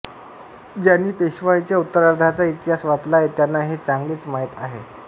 ज्यांनी पेशवाईच्या उत्तरार्धाचा इतिहास वाचला आहे त्यांना हे चांगलेच माहीत आहे